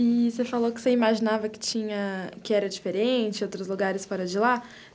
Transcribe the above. E você falou que você imaginava que tinha... que era diferente, outros lugares fora de lá.